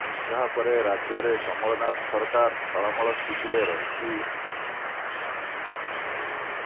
ଏହା ପରେ ରାଜ୍ୟରେ କମଲନାଥ ସରକାର ଟଳମଳ ସ୍ଥିତିରେ ରହିଛି